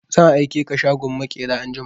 Zan aike ka shagon maƙera anjima!